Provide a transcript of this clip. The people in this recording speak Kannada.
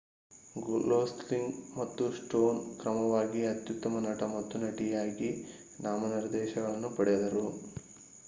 ಗೊಸ್ಲಿಂಗ್ ಮತ್ತು ಸ್ಟೋನ್ ಕ್ರಮವಾಗಿ ಅತ್ಯುತ್ತಮ ನಟ ಮತ್ತು ನಟಿಯಾಗಿ ನಾಮನಿರ್ದೇಶನಗಳನ್ನು ಪಡೆದರು